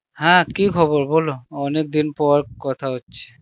হ্যাঁ কি খবর বল অনেকদিন পর কথা হচ্ছে.